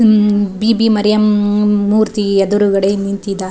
ಹಮ್ ಬೀಬಿ ಮರಿಯಮ್ಮದ್ ಮೂರ್ತಿ ಎದುರುಗಡೆ ನಿಂತಿದ್ದಾ --